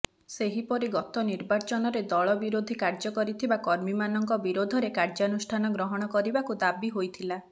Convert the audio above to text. ସେହିପରି ଗତ ନିର୍ବାଚନରେ ଦଳ ବିରୋଧୀ କାର୍ଯ୍ୟ କରିଥିବା କର୍ମୀମାନଙ୍କ ବିରୋଧରେ କାର୍ଯ୍ୟାନୁଷ୍ଠାନ ଗ୍ରହଣ କରିବାକୁ ଦାବି ହୋଇଥିଲା